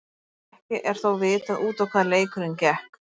Ekki er þó vitað út á hvað leikurinn gekk.